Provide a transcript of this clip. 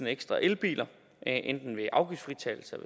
ekstra elbiler enten ved afgiftsfritagelse